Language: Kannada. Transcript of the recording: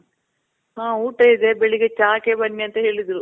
ಹ, ಊಟ ಇದೆ. ಬೆಳಿಗ್ಗೆ ಚಹಾಕ್ಕೆ ಬನ್ನಿ ಅಂತ ಹೇಳಿದ್ರು.